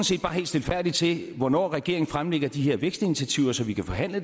set bare helt stilfærdigt til hvornår regeringen fremlægger de her vækstinitiativer så vi kan forhandle